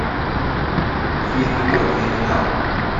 фильмы про криминал